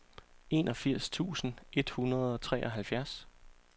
enogfirs tusind et hundrede og treoghalvfjerds